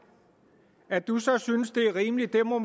at du så alligevel synes det er rimeligt må